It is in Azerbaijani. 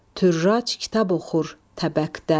Türrac kitab oxur təbəkdə.